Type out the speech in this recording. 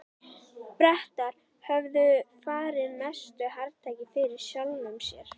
Bretar höfðu farið mestu hrakfarir fyrir sjálfum sér.